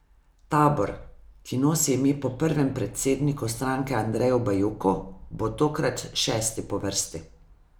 Tabor, ki nosi ime po prvem predsedniku stranke Andreju Bajuku, bo tokrat šesti po vrsti.